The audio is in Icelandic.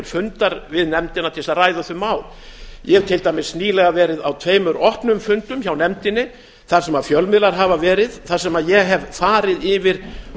fundar við nefndina til þess að ræða þau mál ég hef til dæmis nýlega verið á tveimur opnum fundum hjá nefndinni þar sem fjölmiðlar hafa verið þar sem ég hef farið yfir